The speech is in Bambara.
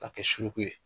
K'a kɛ suruku ye